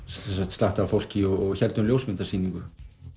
slatta af fólki og héldum ljósmyndasýningu